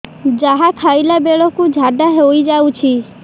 ଯାହା ଖାଇଲା ବେଳକୁ ଝାଡ଼ା ହୋଇ ଯାଉଛି